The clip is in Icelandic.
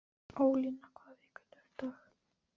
Ólína, hvaða vikudagur er í dag?